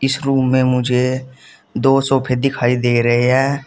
इस रूम में मुझे दो सोफे दिखाई दे रहे हैं।